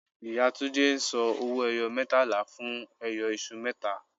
Ìyá Túndé ń san owó-ẹyọ mẹẹtàlá fún ẹyọ iṣu mẹta